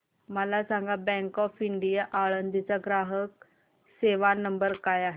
मला सांगा bank of India Alandi चा ग्राहक सेवा नंबर काय आहे